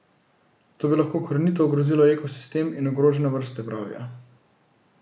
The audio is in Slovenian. To bi lahko korenito ogrozilo ekosistem in ogrožene vrste, pravijo.